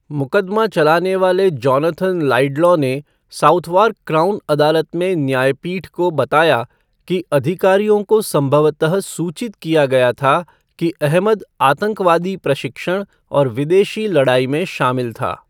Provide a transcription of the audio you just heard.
मुकदमा चलाने वाले जोनाथन लाइडलॉ ने साउथवार्क क्राउन अदालत में न्यायपीठ को बताया कि अधिकारियों को संभवतः सूचित किया गया था कि अहमद आतंकवादी प्रशिक्षण और विदेशी लड़ाई में शामिल था।